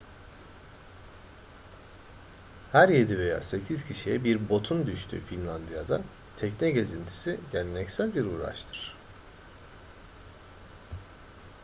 her yedi veya sekiz kişiye bir botun düştüğü finlandiya'da tekne gezintisi geleneksel bir uğraştır